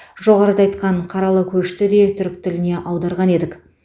жоғарыда айтқан қаралы көшті де түрік тіліне аударған едік